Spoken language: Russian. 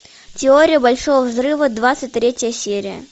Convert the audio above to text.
теория большого взрыва двадцать третья серия